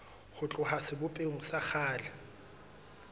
ho tloha sebopehong sa kgale